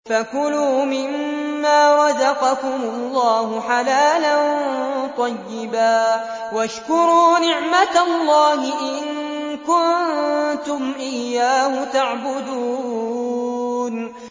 فَكُلُوا مِمَّا رَزَقَكُمُ اللَّهُ حَلَالًا طَيِّبًا وَاشْكُرُوا نِعْمَتَ اللَّهِ إِن كُنتُمْ إِيَّاهُ تَعْبُدُونَ